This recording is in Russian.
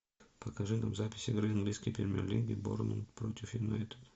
покажи нам запись игры английской премьер лиги борнмут против юнайтед